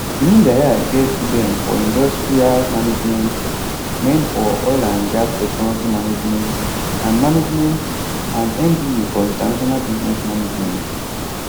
imudia get beng for industrial management men for oil and gas technology management and management and mba for international business management